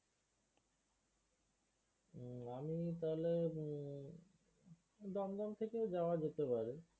আহ আমি তাহলে উম দমদম থেকেই যাওয়া যেতে পারে।